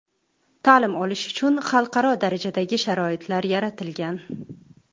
Ta’lim olish uchun xalqaro darajadagi sharoitlar yaratilgan.